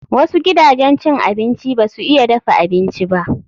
Wasu gidajen cin abinci ba su iya dafa abinci ba.